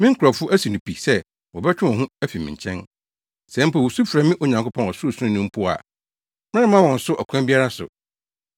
Me nkurɔfo asi no pi sɛ wɔbɛtwe wɔn ho afi me nkyɛn. Sɛ mpo wosu frɛ me Onyankopɔn Ɔsorosoroni no mpo a meremma wɔn so ɔkwan biara so.